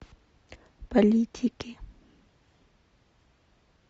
политики